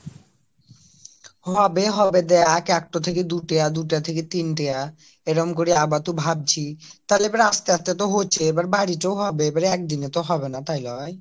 হবে হবে দেখ একটা থেকে দুইটা দুটা থেকে তিনটা এবং করে বা তো ভাবছি তাহলে আবার তো আস্তে আস্তে কে তো হচ্ছে আবার বাড়ি তো হবে আবার একদিনে তো হবে না তাই না